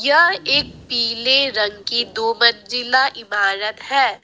यह एक पीले रंग की दो मंजिला इमारत है।